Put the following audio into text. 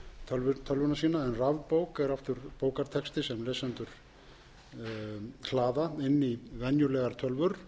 en rafbók er aftur bókartexti sem lesendur hlaða inn í venjulegar tölvur